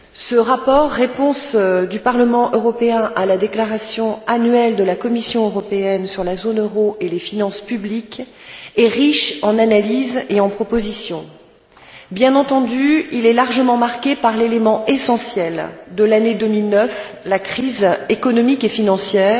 Ce rapport, réponse du Parlement européen à la déclaration annuelle de la Commission européenne sur la zone euro et les finances publiques, est riche en analyses et en propositions. Bien entendu, il est largement marqué par l'élément essentiel de l'année 2009, la crise économique et financière,